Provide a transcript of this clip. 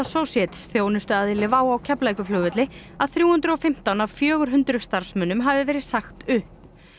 Associates þjónustuaðili WOW á Keflavíkurflugvelli að þrjú hundruð og fimmtán af fjögur hundruð starfsmönnum hafi verið sagt upp